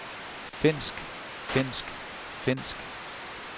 finsk finsk finsk